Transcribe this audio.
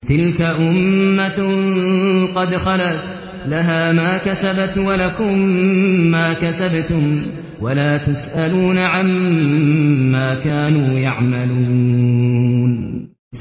تِلْكَ أُمَّةٌ قَدْ خَلَتْ ۖ لَهَا مَا كَسَبَتْ وَلَكُم مَّا كَسَبْتُمْ ۖ وَلَا تُسْأَلُونَ عَمَّا كَانُوا يَعْمَلُونَ